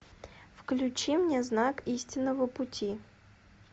включи мне знак истинного пути